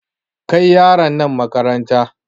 Kai yaran nan makaranta!